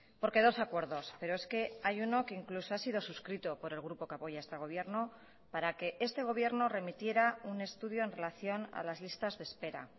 porque dos acuerdos pero es que hay uno que incluso ha sido suscrito por el grupo que apoya este gobierno para que este gobierno remitiera un estudio en relación a las listas de espera